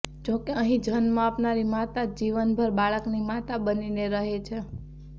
જોકે અહીં જન્મ આપનારી માતા જ જીવનભર બાળકની માતા બનીને રહે છે